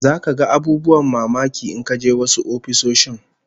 Zaka ga abubuwan mamaki in ka je wasu ofisoshin